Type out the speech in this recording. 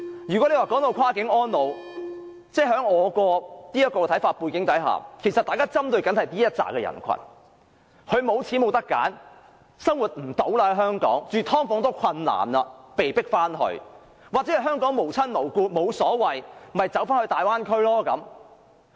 如果說"跨境安老"，我認為大家針對的是這群長者，他們沒有錢，沒有選擇，不能在香港生活，連"劏房"也負擔不來，被迫回內地，或在香港無親無故，沒有太大意見的，便到大灣區安老。